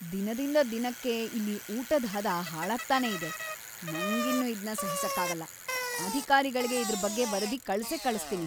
ದಿನದಿಂದ ದಿನಕ್ಕೆ ಇಲ್ಲಿ ಊಟದ್‌ ಹದ ಹಾಳಾಗ್ತಾನೇ ಇದೆ. ನಂಗಿನ್ನು ಇದ್ನ ಸಹಿಸಕ್ಕಾಗಲ್ಲ, ಅಧಿಕಾರಿಗಳ್ಗೆ ಇದ್ರ್‌ ಬಗ್ಗೆ ವರದಿ ಕಳ್ಸೇ ಕಳಿಸ್ತೀನಿ.